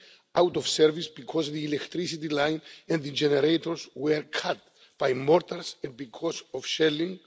out of service because the electricity line and the generators were cut by mortars and because of shelling